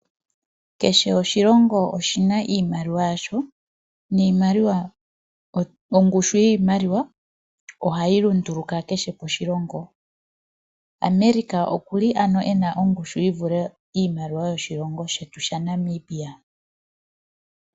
Kehe oshilingo oshina iimaliwa yasho, ongushu yiimalawa oha yi lunduluka kehe moshilongo, America okuli ano ena ongushu yivule yiimaliwa yoshilongo shetu sha Namibia.